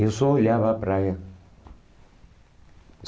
Eu só olhava praia.